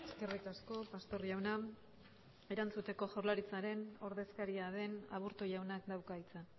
eskerrik asko pastor jauna erantzuteko jaurlaritzaren ordezkaria den aburto jaunak dauka hitza